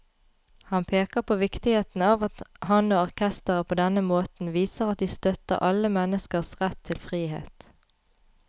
Han peker på viktigheten av at han og orkesteret på denne måten viser at de støtter alle menneskers rett til frihet.